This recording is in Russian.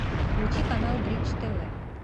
включи канал бридж тв